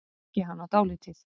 Ég þekki hana dálítið.